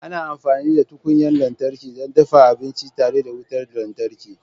Ana amfani da tukunyar lantarki don dafa abinci tare da wutar lantarki.